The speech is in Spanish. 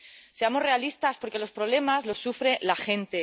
Seamos realistas porque los problemas los sufre la gente.